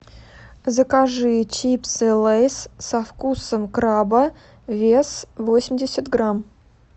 закажи чипсы лейс со вкусом краба вес восемьдесят грамм